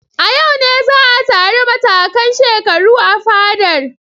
A yau ne za a taru matakan shekaru a fadar.